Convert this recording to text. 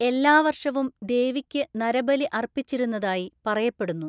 എല്ലാ വർഷവും ദേവിക്ക് നരബലി അർപ്പിച്ചിരുന്നതായി പറയപ്പെടുന്നു.